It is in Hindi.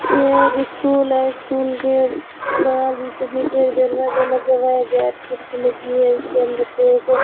यह एक स्कूल है स्कूल के बाहर बीचों बीच एक दरवाजा लगा हुआ है गेट खिड़की लगी हुई है उसके अंदर से एक --